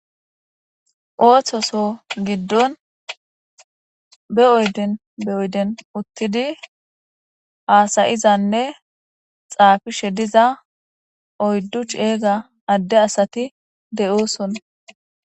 Ooththoso giddon be oyden be oyden uttidi haasayizanne xaafishe diza oyddu ceega adde asati de7ooson.